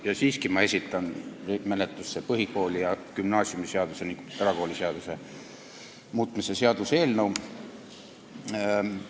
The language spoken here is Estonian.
Ja siiski ma esitan nüüd menetlusse põhikooli- ja gümnaasiumiseaduse ning erakooliseaduse muutmise seaduse eelnõu.